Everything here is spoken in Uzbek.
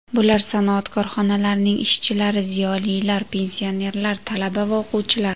Bular sanoat korxonalarining ishchilari, ziyolilar, pensionerlar, talaba va o‘quvchilar.